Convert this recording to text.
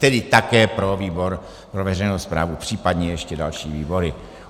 Tedy také pro výbor pro veřejnou správu, případně ještě další výbory.